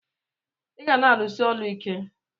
iga na alus8 ọlụ ike!!